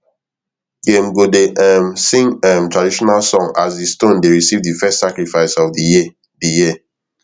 dem go dey um sing um traditional song as di stone dey receive di first sacrifice of di year di year